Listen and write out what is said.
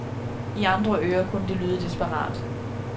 I andre ører kunne det lyde desperat.